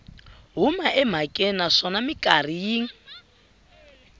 huma emhakeni naswona mikarhi yin